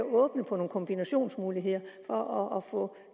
åbent på nogle kombinationsmuligheder for at få